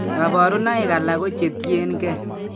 Kabarunaik alak ko che tien gee